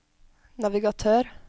navigatør